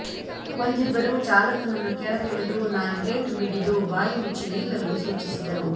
ಒಂದಿಬ್ಬರು ಚಾಲಕನನ್ನು ಕೆಳಗೆಳೆದು ನಾಲ್ಕೇಟು ಬಿಗಿದು ಬಾಯಿ ಮುಚ್ಚಿ ನಿಲ್ಲಲು ಸೂಚಿಸಿದರು